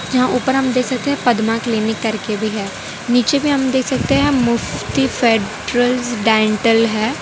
यहां ऊपर हम देख सकते हैं पद्मा क्लिनिक करके भी है नीचे भी हम देख सकते हैं मुफ्ती फेडरल डेंटल है।